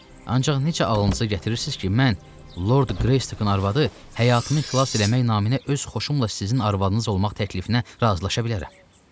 Ancaq necə ağlınıza gətirirsiz ki, mən Lord Greystəkin arvadı həyatımı xilas eləmək naminə öz xoşumla sizin arvadınız olmaq təklifinə razılaşa bilərəm?